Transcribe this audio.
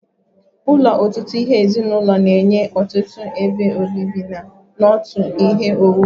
Ụlọ ọtụtụ ezinụlọ na-enye ọtụtụ ebe obibi na otu ihe owuwu